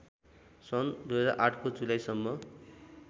सन् २००८ को जुलाईसम्म